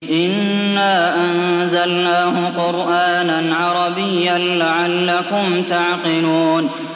إِنَّا أَنزَلْنَاهُ قُرْآنًا عَرَبِيًّا لَّعَلَّكُمْ تَعْقِلُونَ